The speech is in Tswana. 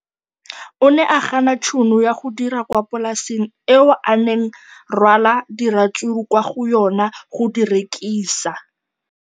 O ne a gana tšhono ya go dira kwa polaseng eo a neng rwala diratsuru kwa go yona go di rekisa.